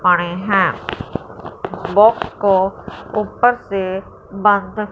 पड़ें हैं बॉक्स को ऊपर से बंद--